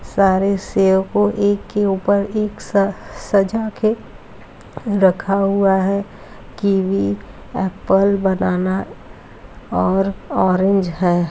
सारे सेव को एक के ऊपर एक साथ सजाके रखा हुआ है। कीवी एप्पल बनाना और ऑरेंज है।